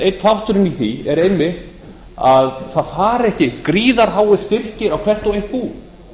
einn þátturinn í því er einmitt að það fari ekki gríðarháir styrkir á hvert og eitt bú